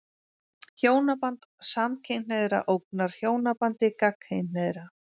Hjónaband samkynhneigðra ógnar hjónabandi gagnkynhneigðra.